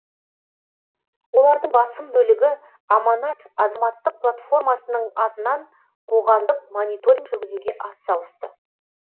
олардың басым бөлігі аманат азаматтық платформасының атынан қоғамдық мониторинг жүргізуге атсалысты